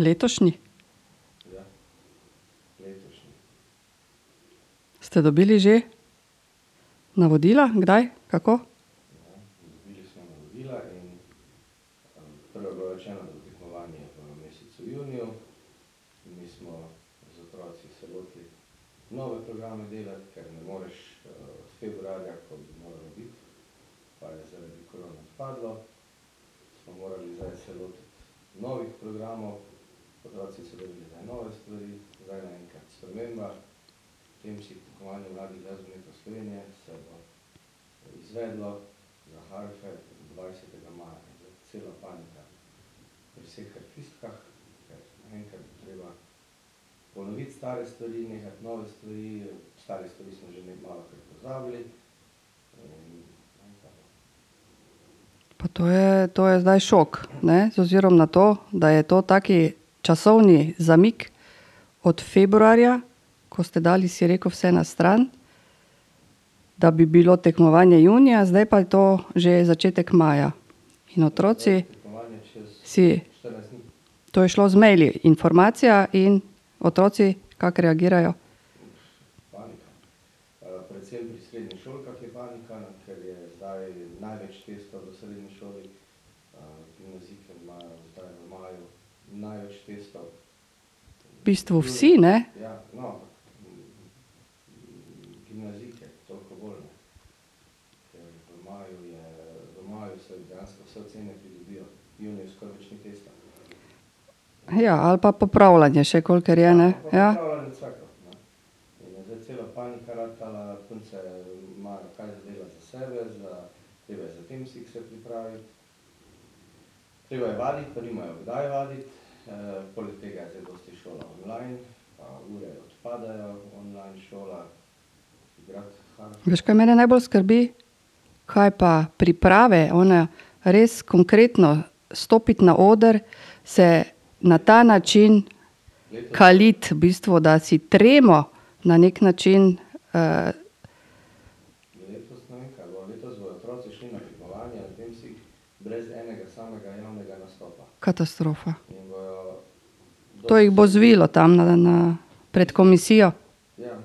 Letošnji? Ste dobili že navodila? Kdaj? Kako? Pa to je, to je zdaj šok, ne. Z ozirom na to, da je to tak časovni zamik, od februarja, ko ste dali, si rekel, vse na stran, da bi bilo tekmovanje junija, zdaj pa je to že začetek maja. In otroci si ... To je šlo z maili informacija in otroci kako reagirajo? V bistvu vsi, ne. ali pa popravljanje še kolikor je, ne. Ja. Veš, kaj mene najbolj skrbi? Kaj pa priprave? One res konkretno. Stopiti na oder, se na ta način kaliti v bistvu, da si tremo na neki način, ... Katastrofa. To jih bo zvilo tam na, na, pred komisijo. Vem.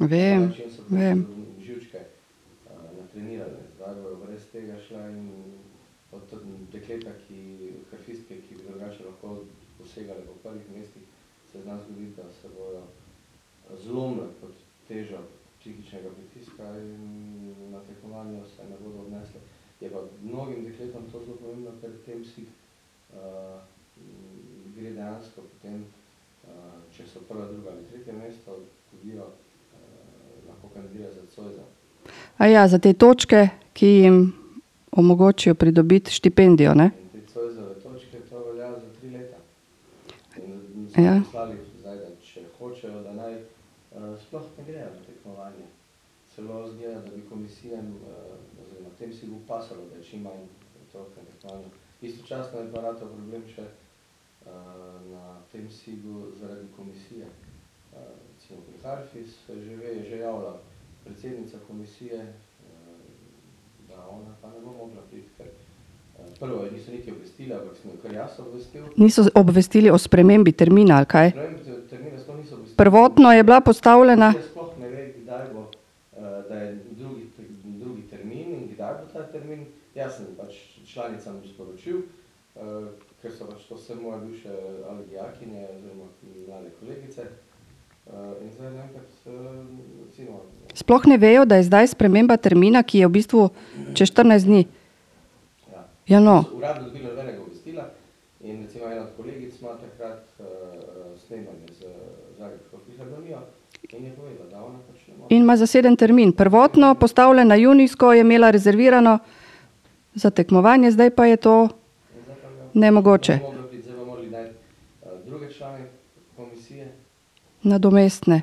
Vem. za te točke, ki jim omogočijo pridobiti štipendijo, ne? Ja. Niso obvestili o spremembi termina, ali kaj? Prvotno je bila postavljena ... Sploh ne vejo, da je zdaj sprememba termina, ki je v bistvu čez štirinajst dni. Ja, no. In ima zaseden termin. Prvotno postavljeno junijsko je imela rezervirano za tekmovanje, zdaj pa je to nemogoče. Nadomestne.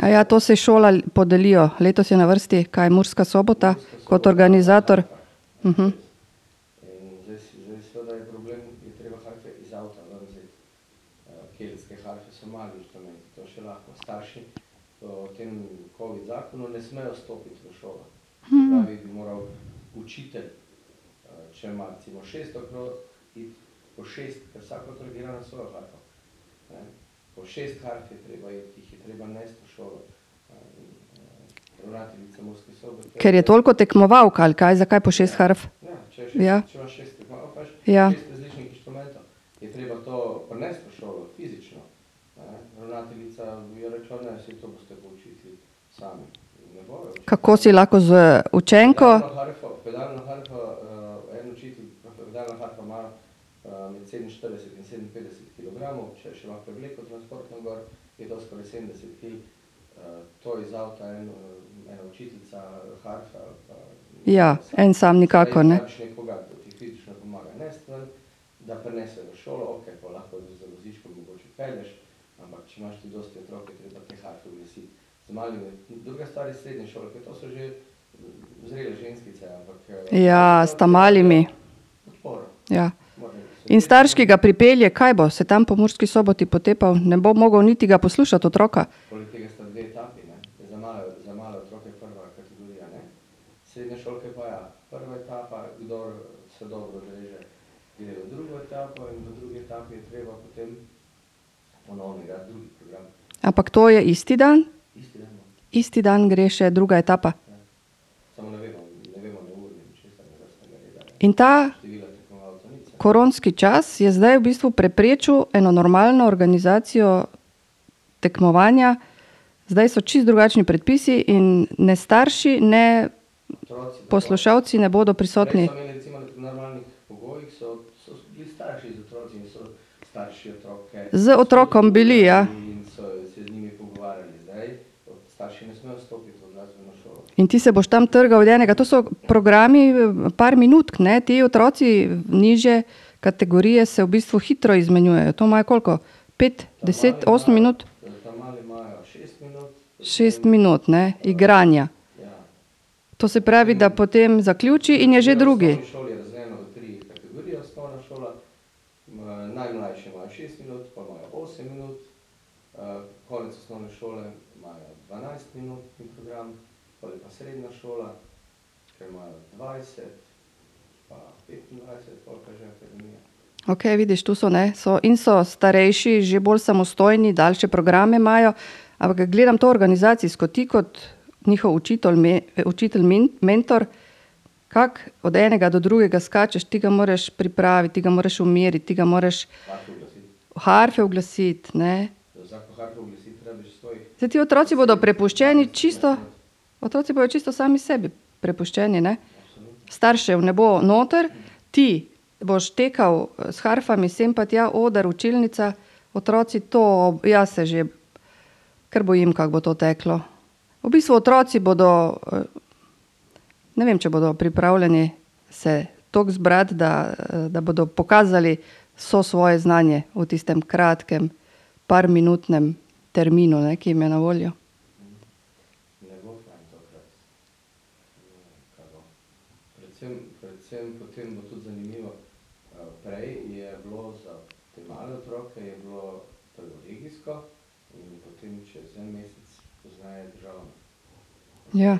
Aja, to se šola podelijo? Letos je na vrsti, kaj, Murska Sobota kot organizator? Ker je toliko tekmovalk, ali kaj? Zakaj po šest harf? Ja. Ja. Kako si lahko z učenko? Ja, en sam nikakor ne. Ja, s ta malimi. Ja. In starš, ki ga pripelje, kaj bo? Se tam po Murski Soboti potepal, ne bo mogel niti ga poslušati, otroka? Ampak to je isti dan? Isti dan gre še druga etapa? In ta ... Koronski čas je zdaj v bistvu preprečil eno normalno organizacijo tekmovanja. Zdaj so čisto drugačni predpisi in ne starši ne poslušalci ne bodo prisotni. Z otrokom bili, ja. In ti se boš tam trgal od enega. To so programi par minutk, ne, ti otroci nižje kategorije se v bistvu hitro izmenjujejo. To imajo koliko? Pet, deset, osem minut? Šest minut, ne. Igranja. To se pravi, da potem zaključi in je že drugi. Okej, vidiš, to so, ne, so, in so starejši že bolj samostojni, daljše programe imajo. Ampak ke gledam to organizacijsko. Ti kot njihov učitelj, učitelj, mentor, kako od enega do drugega skačeš? Ti ga moraš pripraviti, ti ga moraš umiriti, ti ga moraš harfe uglasiti, ne. Saj ti otroci bodo prepuščeni čisto, otroci bojo čisto sami sebi prepuščeni, ne. Staršev ne bo noter, ti boš tekal s harfami sem pa tja, oder, učilnica. Otroci to, jaz se že kar bojim, kako bo to teklo. V bistvu otroci bodo, ne vem, če bodo pripravljeni se tako zbrati, da, da bodo pokazali vse svoje znanje v tistem kratkem, parminutnem terminu, ne, ki jim je na voljo. Ja.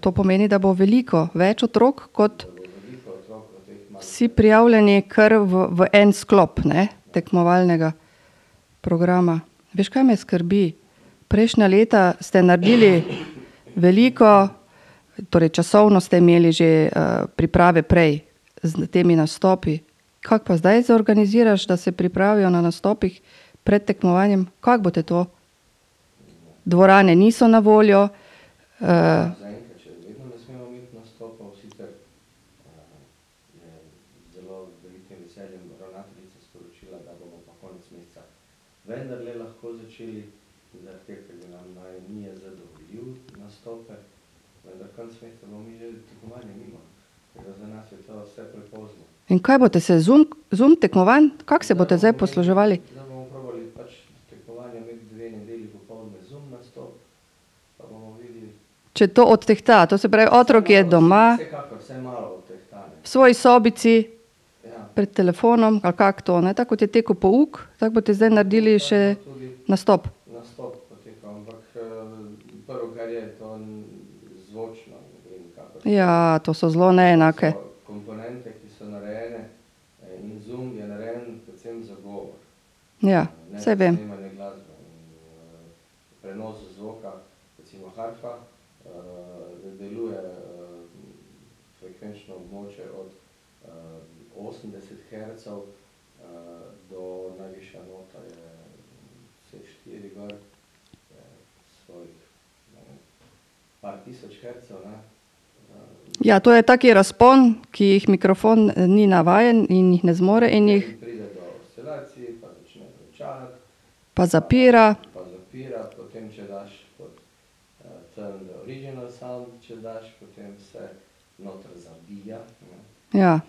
to pomeni, da bo veliko več otrok kot ... Vsi prijavljeni kar v en sklop, ne, tekmovalnega programa. Veš, kaj me skrbi? Prejšnja leta ste naredili veliko, torej časovno ste imeli že, priprave prej. S temi nastopi. Kako pa zdaj zorganiziraš, da se pripravijo na nastopih pred tekmovanjem? Kako boste to? Dvorane niso na voljo. ... In kaj boste se Zoom, Zoom tekmovanj? Kako se boste zdaj posluževali? Če to odtehta. To se pravi, otrok je doma ... V svoji sobici. Pred telefonom, ali kako to, ne. Tako kot je tekel pouk, tako boste zdaj naredili še nastop. Ja, to so zelo neenake ... Ja. Saj vem. Ja, to je tak razpon, ki jih mikrofon ni navajen in jih ne zmore, in jih ... Pa zapira. Ja.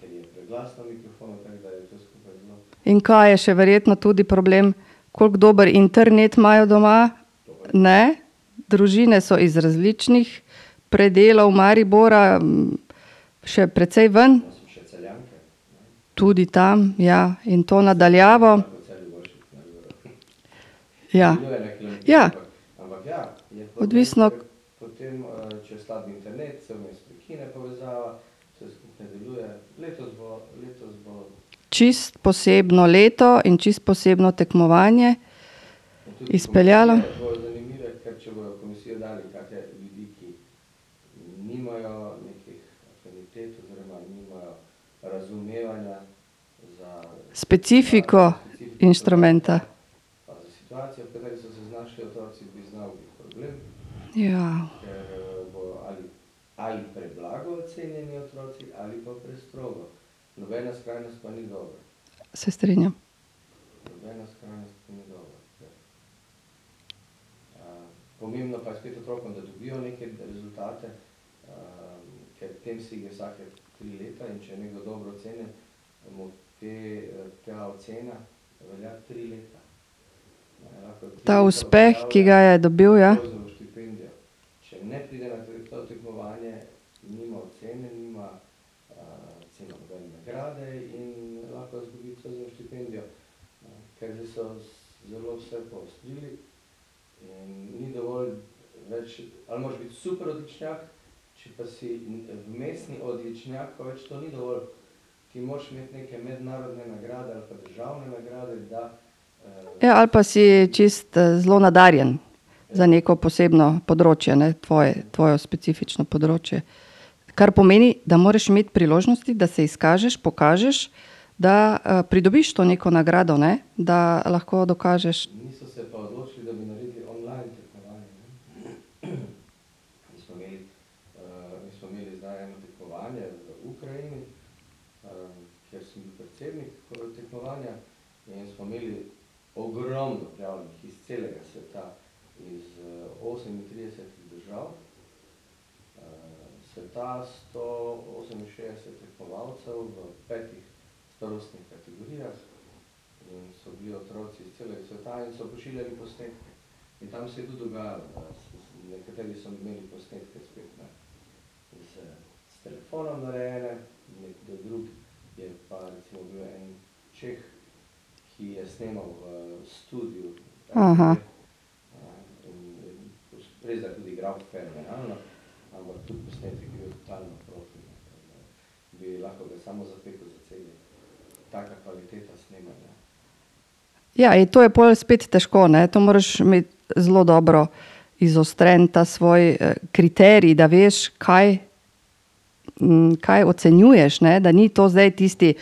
In kaj je še verjetno tudi problem. Koliko dober internet imajo doma, ne? Družine so iz različnih predelov Maribora. še precej ven. Tudi tam, ja. In to na daljavo. Ja. Ja. Odvisno. Čisto posebno leto in čisto posebno tekmovanje izpeljano. Specifiko inštrumenta. Se strinjam. Ta uspeh, ki ga je dobil, ja. Ja, ali pa si čisto, zelo nadarjen za neko posebno področje, ne, tvoje, tvojo specifično področje. Kar pomeni, da moraš imeti priložnosti, da se izkažeš, pokažeš, da, pridobiš to neko nagrado, ne. Da lahko dokažeš. Ja, in to je pol spet težko, ne. To moraš imeti zelo dobro izostren ta svoj, kriterij, da veš, kaj, kaj ocenjuješ, ne, da ni to zdaj tisti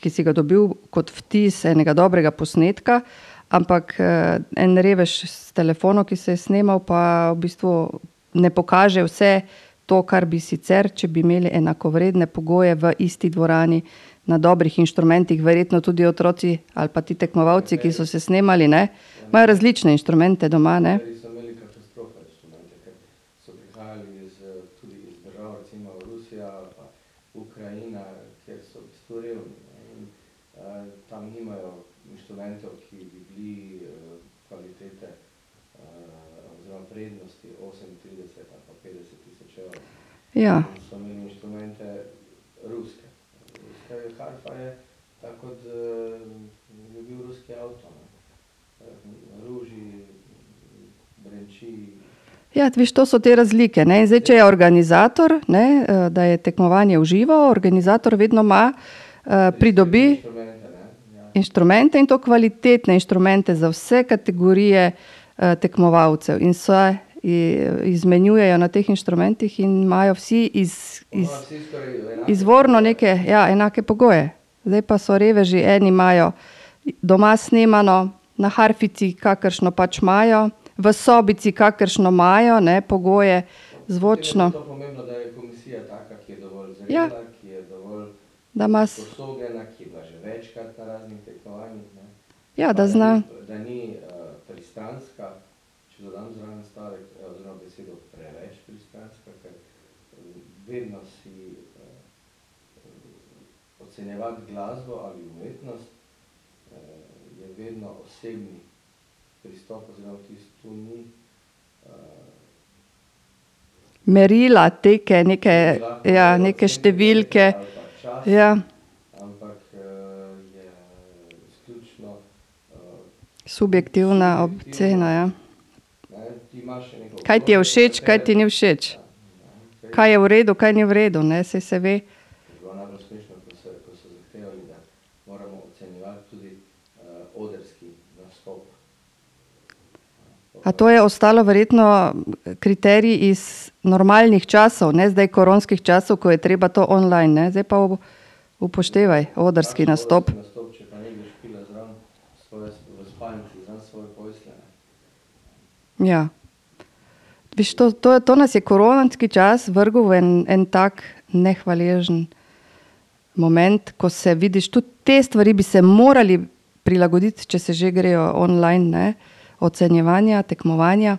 ki si ga dobili kot vtis enega dobrega posnetka, ampak, en revež s telefonom, ki se je snemal, pa v bistvu ne pokaže vse to, kar bi sicer, če bi imeli enakovredne pogoje v isti dvorani, na dobrih inštrumentih. Verjetno tudi otroci ali pa ti tekmovalci, ki so se snemali, ne, imajo različne inštrumente doma, ne. Ja. Ja, veš, to so te razlike, ne. In zdaj če je organizator, ne, da je tekmovanje v živo, organizator vedno ima, pridobi inštrumente, in to kvalitetne inštrumente za vse kategorije, tekmovalcev. In se izmenjujejo na teh inštrumentih in imajo vsi izvorno neke, ja, enake pogoje. Zdaj pa so reveži, eni imajo doma snemano, na harfici, kakršno pač imajo, v sobici, kakršno imajo, ne, pogoje zvočno. Ja. Da ima s... Ja, da zna ... Merila, teke, neke, ja, neke številke, ja. Subjektivna ocena, ja. Kaj ti je všeč, kaj ti ni všeč. Kaj je v redu, kaj ni v redu, ne. Saj se ve. A to je ostalo verjetno kriterij iz normalnih časov, ne zdaj koronskih časov, ko je treba to online ne. Zdaj pa upoštevaj odrski nastop. Ja. Viš, to, to, to nas je koronski čas vrgel v en, en tak nehvaležen moment, ko se, vidiš, tudi te stvari bi se morali prilagoditi, če se že grejo online, ne, ocenjevanja, tekmovanja.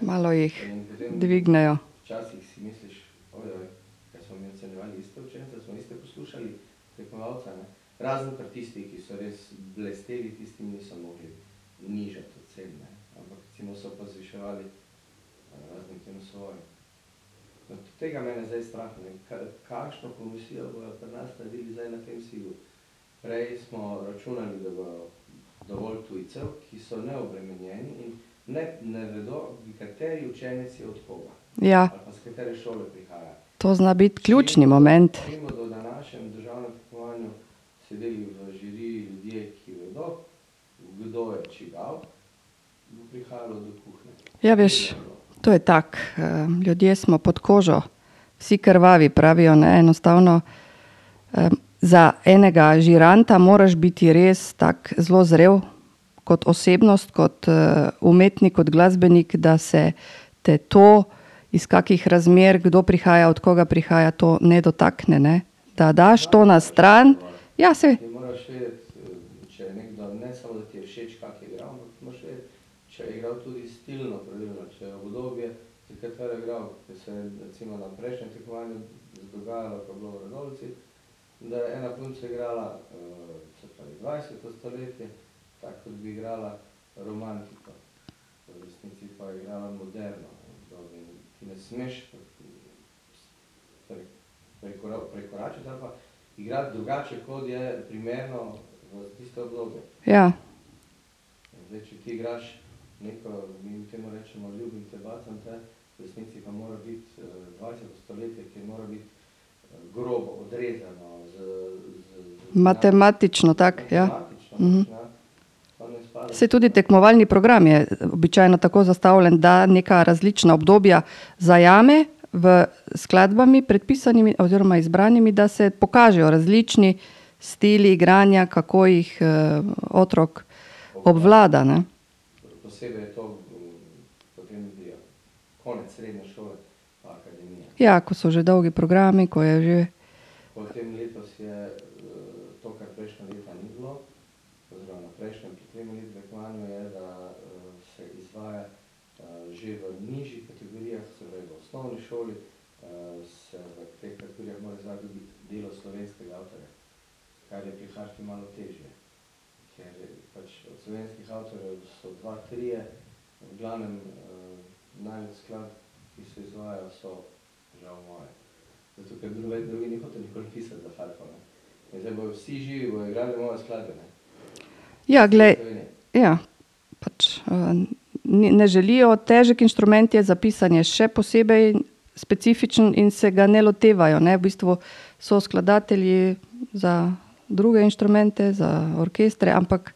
Malo jih dvignejo. Ja. To zna biti ključni moment. Ja, veš. To je tako. ljudje smo pod kožo vsi krvavi, pravijo, ne. Enostavno, za enega žiranta moraš biti res tako zelo zrel kot osebnost, kot, umetnik, kot glasbenik, da se te to, iz kakih razmer kdo prihaja, od koga prihaja, to ne dotakne, ne. Da daš to na stran. Ja, saj. Ja. Matematično, tako, ja. Saj tudi tekmovalni program je običajno tako zastavljen, da neka različna obdobja zajame v, s skladbami, predpisanimi oziroma izbranimi, da se pokažejo različni stili igranja, kako jih, otrok obvlada, ne. Ja, ko so že dolgi programi, ko je že ... Ja, glej ... Ja. Pač, ne želijo. Težek inštrument je, za pisanje še posebej specifičen in se ga ne lotevajo, ne. V bistvu so skladatelji za druge inštrumente, za orkestre, ampak ...